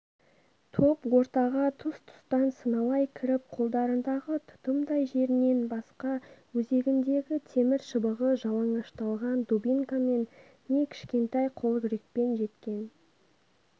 топ ортаға тұс-тұстан сыналай кіріп қолдарындағы тұтымдай жерінен басқа өзегіндегі темір шыбығы жалаңашталған дубинкамен не кішкентай қолкүрекпен жеткен